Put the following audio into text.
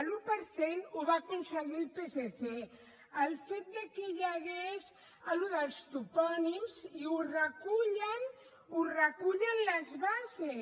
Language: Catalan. l’un per cent el va aconseguir el psc el fet que hi hagués allò dels topònims i ho recullen ho recullen les bases